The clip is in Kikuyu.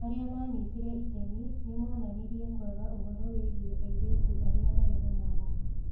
Arĩa maanyitire itemi nĩ moonanirie kwaga ũhoro wĩgiĩ airĩtu arĩa marĩ na mawathe.